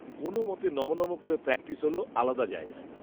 কোনও মতে নমঃ নমঃ করে প্র্যাকটিস হল, আলাদা জায়গায়